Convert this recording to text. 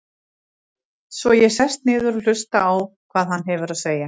Svo ég sest niður og hlusta á hvað hann hefur að segja.